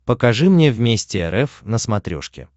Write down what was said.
покажи мне вместе рф на смотрешке